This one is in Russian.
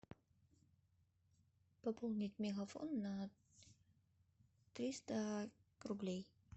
пополнить мегафон на триста рублей